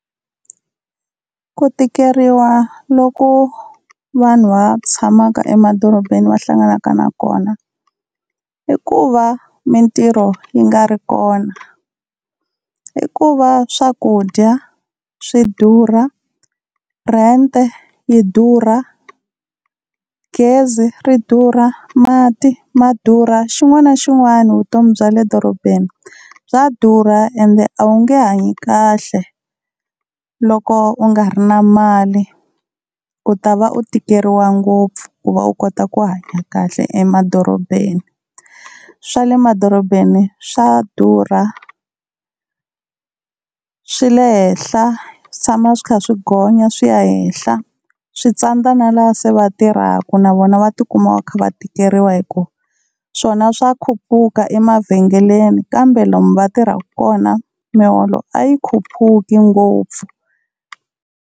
Ku tikeriwa loko vanhu va tshamaka emadorobeni va hlanganaka na kona, i ku va mintirho yi nga ri kona, i ku va swakudya swi durha, rent yi durha, gezi ri durha, mati ma durha. Xin'wana na xin'wana vutomi bya le dorobeni bya durha, ende a wu nge hanyi kahle loko u nga ri na mali u ta va u tikeriwa ngopfu, ku va u kota ku hanya kahle emadorobeni. Swa le madorobeni swa durha swi le henhla swi tshama swi kha swi gonya swi ya henhla. Switsandza na lava se va tirhaka na vona va tikuma va kha va tikeriwa hi ku swona swa khupuka emavhengeleni kambe lomu va tirhaka kona miholo a yi khupuki ngopfu.